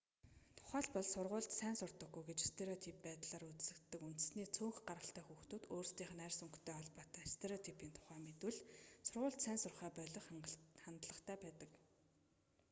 тухайлбал сургуульд сайн сурдаггүй гэж стереотип байдлаар үзэгддэг үндэстний цөөнх гаралтай хүүхдүүд өөрсдийнх нь арьс өнгөтэй холбоотой стереотипийн тухай мэдвэл сургуульд сайн сурахаа болих хандлагатай байдаг